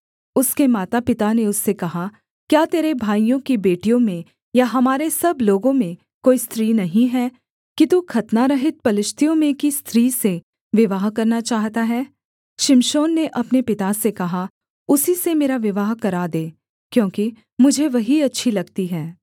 उसके माता पिता ने उससे कहा क्या तेरे भाइयों की बेटियों में या हमारे सब लोगों में कोई स्त्री नहीं है कि तू खतनारहित पलिश्तियों में की स्त्री से विवाह करना चाहता है शिमशोन ने अपने पिता से कहा उसी से मेरा विवाह करा दे क्योंकि मुझे वही अच्छी लगती है